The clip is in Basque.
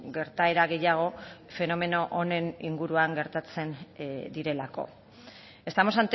gertaera gehiago fenomeno honen inguruan gertatzen direlako estamos